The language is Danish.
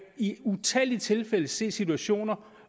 i utallige tilfælde se situationer